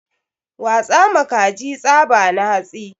Watsa ma kaji tsaba na hatsi